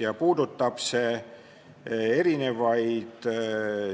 See puudutab mitmeid